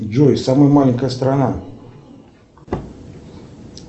джой самая маленькая страна